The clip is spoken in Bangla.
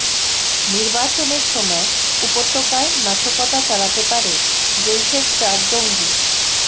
নির্বাচনের সময় উপত্যকায় নাশকতা চালাতে পারে জৈশের চার জঙ্গি